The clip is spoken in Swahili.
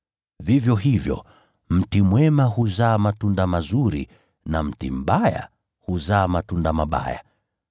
Vivyo hivyo, mti mwema huzaa matunda mazuri, na mti mbaya huzaa matunda mabaya.